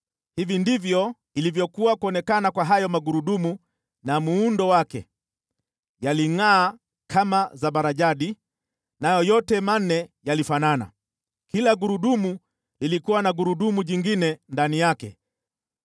Hivi ndivyo ilivyokuwa kuonekana kwa hayo magurudumu na muundo wake: yalingʼaa kama zabarajadi, nayo yote manne yalifanana. Kila gurudumu lilikuwa na gurudumu jingine ndani yake.